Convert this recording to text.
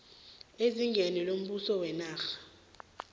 ezingeni lombuso wenarha